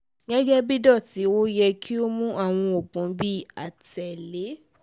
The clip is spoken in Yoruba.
gẹgẹbi dots o yẹ ki o mu awọn oogun bi atẹle